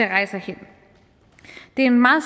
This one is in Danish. rejse hen det er en meget